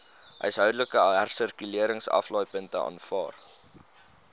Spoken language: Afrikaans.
huishoudelike hersirkuleringsaflaaipunte aanvaar